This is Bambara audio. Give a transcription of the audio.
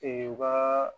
u ka